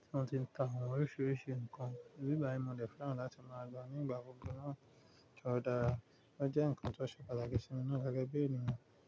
tí wọ́n ti ń ta àwọn oríṣiríṣi nǹkan. Ní bí i báyi, mo dẹ̀ fẹ́ràn láti máa lọ nígbà gbogbo náà tó dára. Ó jẹ́ nǹkan tó ṣe pàtàkì sí mi na gẹ́gẹ́ bí ènìyàn.